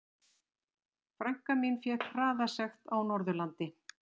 Frænka mín fékk hraðasekt á Norðurlandi.